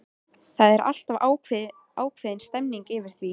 Það er alltaf ákveðin stemmning yfir því.